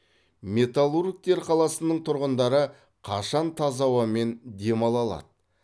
металлургтер қаласының тұрғындары қашан таза ауамен демала алады